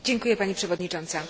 Pani przewodnicząca!